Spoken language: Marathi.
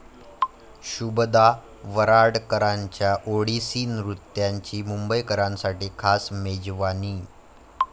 शुभदा वराडकरांच्या ओडिसी नृत्याची मुंबईकरांसाठी खास 'मेजवानी'